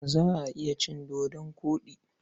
Za a iya cin dodon koɗi.